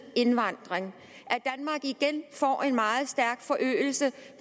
indvandring og igen får en meget stærk forøgelse